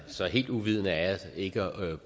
så helt uvidende er jeg ikke